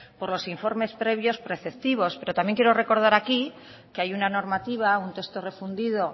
por los informes previos preceptivos pero también quiero recordar aquí que hay una normativa un texto refundido